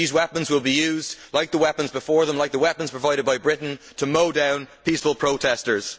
these weapons will be used, like the weapons before them and like the weapons provided by Britain, to mow down peaceful protestors.